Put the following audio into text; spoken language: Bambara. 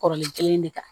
Kɔrɔlen kelen de kan